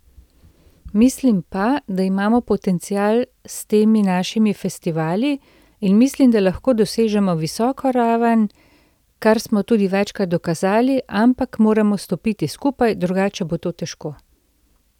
Mislim pa, da imamo potencial s temi našimi festivali, in mislim, da lahko dosežemo visoko raven, kar smo tudi večkrat dokazali, ampak moramo stopiti skupaj, drugače bo to težko.